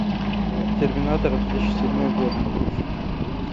терминатор две тысячи седьмой год